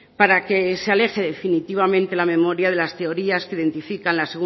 para que se aleje definitivamente la memoria de las teorías que identifican la